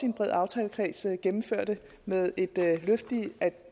en bred aftalekreds gennemførte med et løft